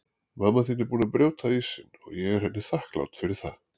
Mamma þín er búin að brjóta ísinn og ég er henni þakklát fyrir það.